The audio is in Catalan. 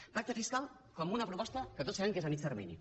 el pacte fiscal com una proposta que tots sabem que és a mitjà termini